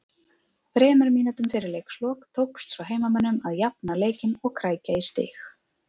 Þremur mínútum fyrir leiks lok tókst svo heimamönnum að jafna leikinn og krækja í stig